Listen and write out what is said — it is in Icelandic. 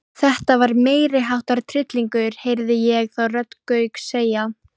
Frá þjóðfræðilegu sjónarmiði skiptir það heldur ekki mestu máli.